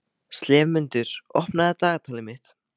slefmundur, opnaðu dagatalið mitt.